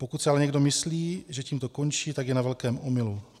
Pokud si ale někdo myslí, že tím to končí, tak je na velkém omylu.